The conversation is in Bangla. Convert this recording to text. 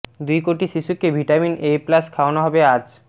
দুই কোটি শিশুকে ভিটামিন এ প্লাস খাওয়ানো হবে আজ